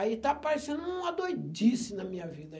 Aí está parecendo uma doidice na minha vida.